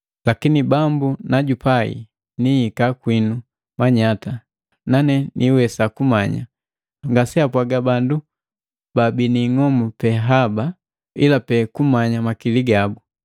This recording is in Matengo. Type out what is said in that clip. Lakini Bambu najupai, nihika kwinu manyata, nane niiwesa kumanya, ngaseapwaga bandu bana ing'omu haba pe sela, ila pe kumanya makili gabu.